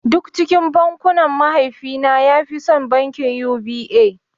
Duk cikin bankuna mahaifi na ya fi son bankin U.B.A